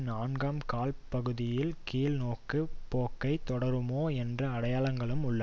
நான்காம் கால் பகுதியில் கீழ்நோக்குப் போக்கை தொடருமோ என்ற அடையாளங்களும் உள்ள